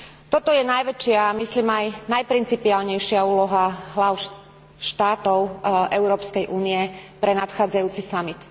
Toto je najväčšia, myslím aj najprincipiálnejšia úloha hláv štátov Európskej únie pre nadchádzajúci samit.